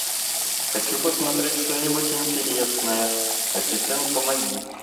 хочу посмотреть что нибудь интересное ассистент помоги